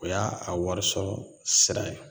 O y'a a warisɔrɔ sira ye